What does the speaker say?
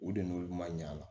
U de n'olu ma ɲin'a la